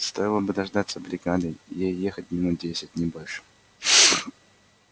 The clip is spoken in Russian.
стоило бы дождаться бригады ей ехать минут десять не больше